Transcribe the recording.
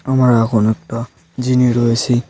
আমরা এখন একটা জিনে রয়েছি।